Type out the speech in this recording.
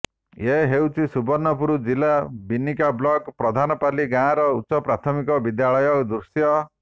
ଏ ହେଉଛି ସୁବର୍ଣ୍ଣପୁର ଜିଲ୍ଲା ବିନିକା ବ୍ଲକ ପ୍ରଧାନପାଲି ଗାଁର ଉଚ୍ଚ ପ୍ରାଥମିକ ବିଦ୍ୟାଳୟର ଦୃଶ୍ୟ